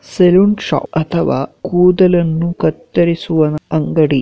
Salon shop ಅಥವಾ ಕೂದಲನ್ನು ಕತ್ತರಿಸುವ ಅಂಗಡಿ.